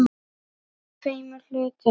Í tveimur hlutum.